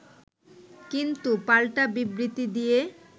কিন্তু, পাল্টা বিবৃতি দিয়ে